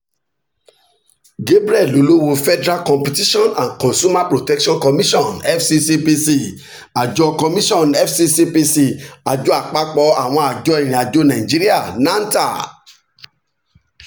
gabriel olowo federal competition and consumer protection commission fccpc àjọ commission fccpc àjọ àpapọ̀ àwọn àjọ ìrìn àjò nàìjíríà nanta